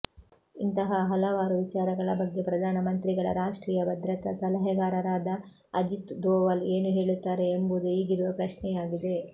ಇಂತಹ ಹಲವಾರು ವಿಚಾರಗಳ ಬಗ್ಗೆ ಪ್ರಧಾನಮಂತ್ರಿಗಳ ರಾಷ್ಟ್ರೀಯ ಭದ್ರತಾ ಸಲಹೆಗಾರರಾದ ಅಜಿತ್ ದೋವಲ್ ಏನು ಹೇಳುತ್ತಾರೆ ಎಂಬುದು ಈಗಿರುವ ಪ್ರಶ್ನೆಯಾಗಿದೆ